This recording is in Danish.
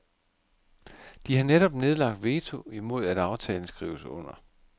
De har netop nedlagt veto imod at aftalen skrives under.